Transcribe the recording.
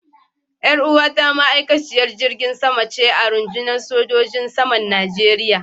Yar uwata ma'aikaciyar jirgin sama ce a rundunar sojojin saman Najeriya.